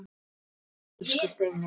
Takk fyrir allt, elsku Steini.